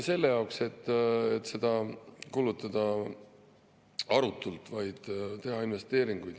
… selle jaoks, et seda arutult kulutada, vaid teha investeeringuid.